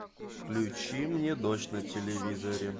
включи мне дождь на телевизоре